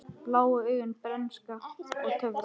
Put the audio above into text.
Blá augu, bernska og töfrar